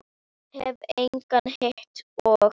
Hef engan hitt og.